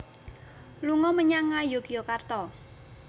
Lunga menyang Ngayogyakarta